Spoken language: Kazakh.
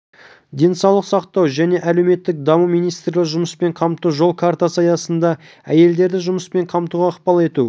денсаулық сақтау және әлеуметтік даму министрлігі жұмыспен қамту жол картасы аясында әйелдерді жұмыспен қамтуға ықпал ету